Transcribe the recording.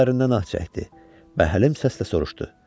O dərindən ah çəkdi və əlim səslə soruşdu: